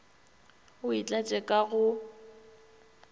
o e tlatše ka go